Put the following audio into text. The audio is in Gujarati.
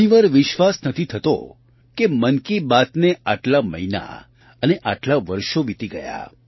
ઘણી વાર વિશ્વાસ નથી થતો કે મન કી બાતને આટલા મહિના અને આટલાં વર્ષો વિતી ગયાં